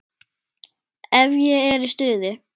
Ef ég er í stuði.